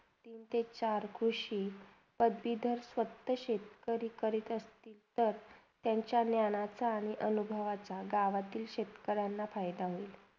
ते चार कृषी फक्त शेतकरी कडे असतील तर तर त्यांचा ज्ञानाचा आणि अनुभवाचा गावातला शेतकऱ्यांना फायदा होईल.